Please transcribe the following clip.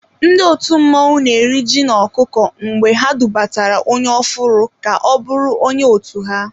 Ndị òtù mmọnwụ na eri ji na-ọkụkọ mgbe ha dubatara onye ofụru ka-ọbụrụ onye otu ha.